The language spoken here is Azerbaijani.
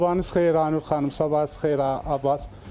Sabahınız xeyir Aynur xanım, sabahınız xeyir Abas.